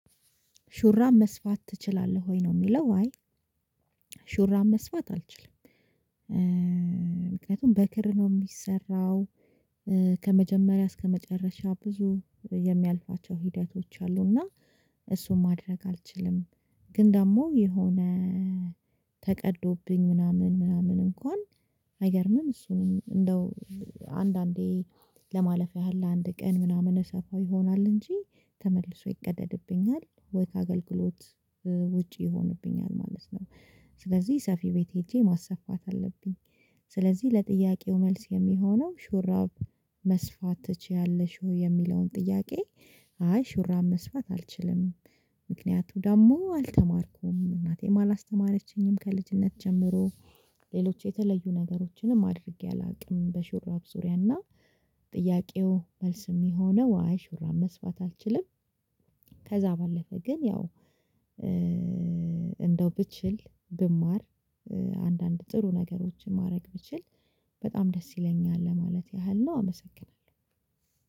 ሹራብ መስፋት ትችላለህ ወይ ነው? የሚለው አይ ሹራብ መስፋት አልችልም። ምክንያቱም በክር ነው ሚሰራው ከመጀመሪያ እስከ መጨረሻ ብዙ የሚያልፋቸው ሂደቶች አሉ። እና እሱን ማድረግ አልችልም። ግን ደግሞ የሆነ ተቀዶብኝ ምናምን ምናምን እንኳን አይገርምም እሱንም እንደው አንዳንዴ ለማለፍ ያህል ለአንድ ቀን ምናምን እሰፋው ይሆናል እንጂ ተመልሶ ይቀደድብኛል ወይ ከአገልግሎት ውጪ ይሆንብኛል። ማለት ነው። ስለዚህ ሰፊ ቤት ሄጄ ማሰፋት አለብኝ። ስለዚህ ለጥያቄው መልስ የሚሆነው ሹራብ መስፋት ትችያለሽ ወይ የሚለውን ጥያቄ? አይ ሹራብ መስፋት አልችልም። ምክንያቱ ደግሞ አልተማርኩም እናቴም አላስተማረችኝም ከልጅነት ጀምሮ ሌሎች የተለዩ ነገሮችንም አድርጌ አላቅም። በሹራብ ዙሪያና ጥያቄው መልስ ሚሆነው አይ ሹራብ መስፋት አልችልም። ከዛ ባለፈ ግን ያው እንደው ብችል ብማር አንዳንድ ጥሩ ነገሮችን ማድረግ ብችል በጣም ደስ ይለኛል። ለማለት ያህል ነው አመሰግናለሁ።